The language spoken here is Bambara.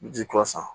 Ji kura san